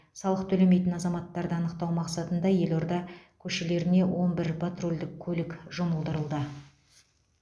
салық төлемейтін азаматтарды анықтау мақсатында елорда көшелеріне он бір патрульдік көлік жұмылдырылды